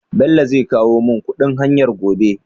Bello zai kowo mun kuɗin hayar gobe?